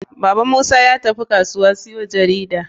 Baban musa yatafi kasuwa siyo jarida.